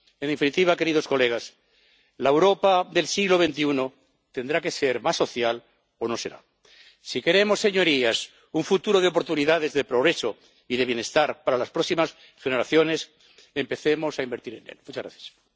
En definitiva, queridos colegas, la Europa del siglo XXI tendrá que ser más social o no será. Si queremos, señorías, un futuro de oportunidades, de progreso y de bienestar para las próximas generaciones, empecemos a invertir en él.